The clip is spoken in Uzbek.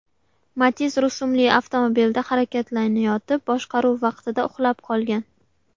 Matiz rusumli avtomobilda harakatlanayotib, boshqaruv vaqtida uxlab qolgan.